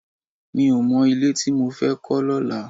Mi ò tí ì mọ ilé tí mo fẹ́ kọ́ lọ́la